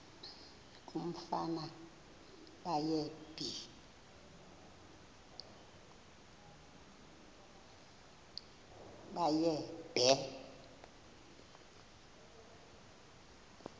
umfana baye bee